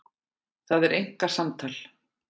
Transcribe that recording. Það er einkasamtal.